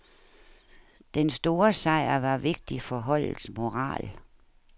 Den store sejr var vigtig for holdets moral.